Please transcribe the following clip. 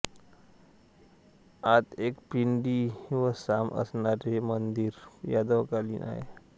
आत एक पिंडी व सांब असणारे हे मंदिर यादवकालीन आहे